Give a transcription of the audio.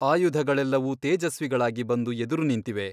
ಆಯುಧಗಳೆಲ್ಲವೂ ತೇಜಸ್ವಿಗಳಾಗಿ ಬಂದು ಎದುರು ನಿಂತಿವೆ.